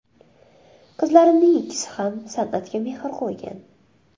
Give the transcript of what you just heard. Qizlarimning ikkisi ham san’atga mehr qo‘ygan.